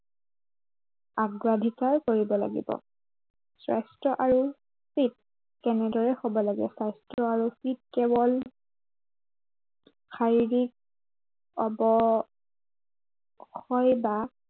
অগ্ৰাধিকাৰ কৰিব লাগিব। স্বাস্থ্য় আৰু fit কেনেদৰে হব লাগে। স্বাস্থ্য় আৰু fit কেৱল শাৰীৰিক অৱ ক্ষয় বা